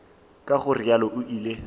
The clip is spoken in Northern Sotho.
ka go realo o ile